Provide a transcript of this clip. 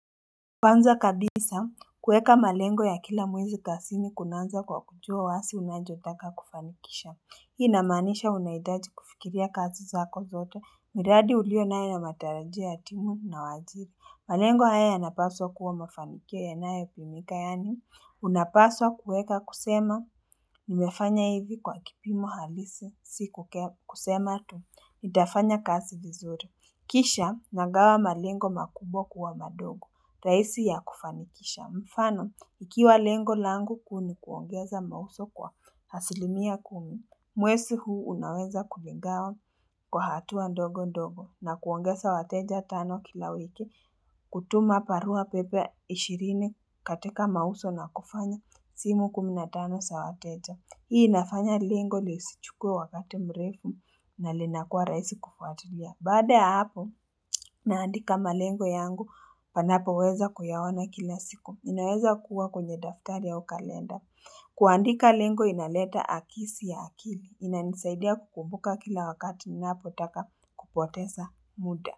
Kwanza kabisa kueka malengo ya kila mwezi kazini kunaanza kwa kujua wazi unachotaka kufanikisha hii inamaanisha unahitaji kufikiria kazi zako zoto miradi ulio nayo na matarajia ya timu na wajidi malengo haya yanapaswa kuwa mafanikio yanayopimika yaani unapaswa kueka kusema nimefanya hivi kwa kipimo halisi si kusema tu nitafanya kazi vizuri kisha nagawa malengo makubwa kuwa madogo rahisi ya kufanikisha mfano ikiwa lengo langu kuu ni kuongeza mauzo kwa asilimia kumi mwezi huu unaweza kuvigawa kwa hatua ndogo ndogo na kuongeza wateja tano kila wiki kutuma barua pepe 20 katika mauzo na kufanya simu 15 za wateja hii inafanya lengo lisichukwe wakati mrefu na linakua raisi kufuatulia baada ya hapo naandika malengo yangu panapo weza kuyaona kila siku inaweza kuwa kwenye daftari ya kalenda kuandika lengo inaleta akisi ya akili inanisaidia kukumbuka kila wakati ninapotaka kupoteza muda.